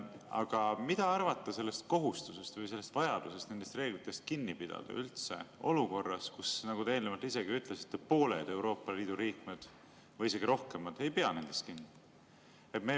Aga mida arvata sellest kohustusest või sellest vajadusest nendest reeglitest kinni pidada olukorras, kus – nagu te eelnevalt ise ütlesite – pooled Euroopa Liidu liikmed või isegi rohkem ei pea nendest kinni?